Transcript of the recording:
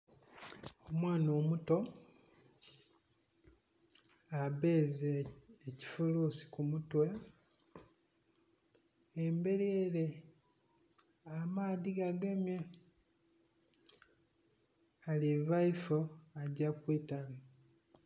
Omwana omuto abbeze ekifulusi kumutwe emberi ere amaadhi gagemye aliva ifoo agya kwiitale.